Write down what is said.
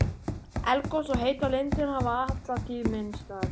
Eldgos og heitar lindir hafa alla tíð minnt á þetta.